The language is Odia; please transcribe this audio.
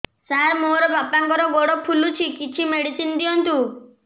ସାର ମୋର ବାପାଙ୍କର ଗୋଡ ଫୁଲୁଛି କିଛି ମେଡିସିନ ଦିଅନ୍ତୁ